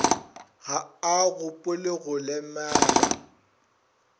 ga a gopole go lemela